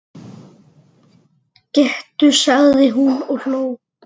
Gettu sagði hún og hló.